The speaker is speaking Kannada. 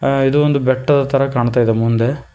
ಇದು ಒಂದು ಬೆಟ್ಟದ ತರ ಕಾಣ್ತಾ ಇದೆ ಮುಂದೆ.